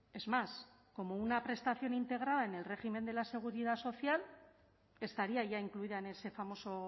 es más como una prestación integrada en el régimen de la seguridad social estaría ya incluida en ese famoso